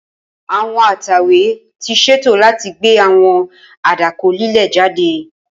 Awọn atẹwe ti ṣeto lati gbe awọn adakọ lile jade.